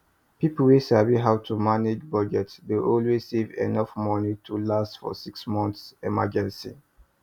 people wey sabi how to budget dey always save enough money to last for six months emergency